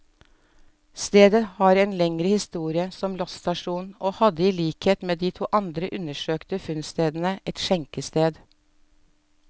Stedet har en lengre historie som losstasjon, og hadde i likhet med de to andre undersøkte funnstedene, et skjenkested.